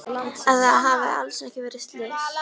Að það hafi alls ekki verið slys.